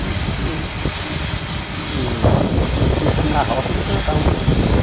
Tudo que que que pertencia na roça, ele plantava um pouquinho, né?